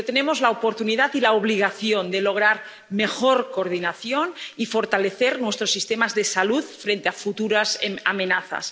Pero tenemos la oportunidad y la obligación de lograr mejor coordinación y fortalecer nuestros sistemas de salud frente a futuras amenazas.